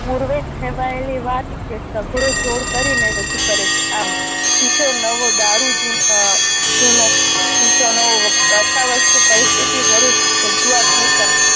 પૂર્વે કહેવાએલી વાત એ સઘળો જોર કરી ને રજૂ કરે છે આમ શીશો નવ દારૂ જુ આહ જૂનો શીશો નવ કથા વસ્તુ પરિસ્થિતિ વરુષ્ટ રજૂઆત નુતન